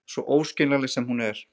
Svo óskiljanleg sem hún er.